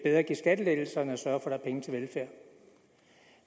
at give skattelettelser end at sørge for er penge til velfærd